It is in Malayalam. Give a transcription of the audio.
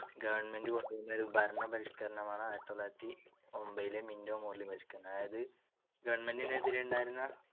government കൊണ്ടുവന്ന ഒരു ഭരണപരിഷ്കരണമാണ്‌ ആയിരത്തിതൊള്ളായിരത്തിയൊൻപതിലെ മിൻറ്റോ മോർലി പരിഷ്‌ക്കരണം. അതായതു government നെതിരെ ഉണ്ടായിരുന്ന